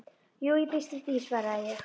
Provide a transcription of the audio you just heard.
Jú, ég býst við því, svaraði ég.